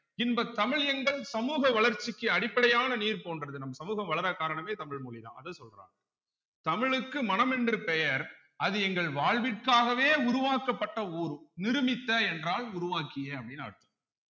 இன்பத் தமிழ் எங்கள் சமூக வளர்ச்சிக்கு அடிப்படையான நீர் போன்றது நம் சமூகம் வளர காரணமே தமிழ் மொழிதான் அதா சொல்ராங்க தமிழ்க்கு மனம் என்று பெயர் அது எங்கள் வாழ்விற்காகவே உருவாக்கப்பட்ட ஊர் நிருமித்த என்றால் உருவாக்கிய அப்படீன்னு அர்த்தம்